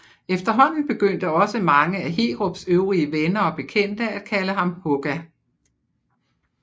Efterhånden begyndte også mange af Heerups øvrige venner og bekendte at kalde ham Hugga